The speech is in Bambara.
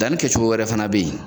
Danni kɛ cogo wɛrɛ fana bɛ yen.